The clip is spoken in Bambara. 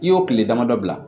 I y'o tile damadɔ bila